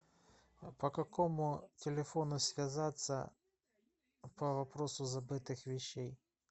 по какому телефону связаться по вопросу забытых вещей